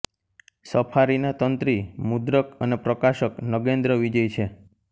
સફારીના તંત્રી મુદ્રક અને પ્રકાશક નગેન્દ્ર વિજય છે